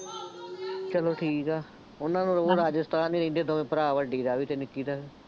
ਚੱਲੌ ਠੀਕ ਆ, ਉਹਨਾ ਨੂੰ ਹੋਊ ਰਾਜਸਥਾਨ ਹੀ ਰਹਿੰਦੇ ਦੋਵੇਂ ਭਰਾ ਵੱਡੀ ਦਾ ਵੀ ਅਤੇ ਨਿੱਕੀ ਦਾ ਵੀ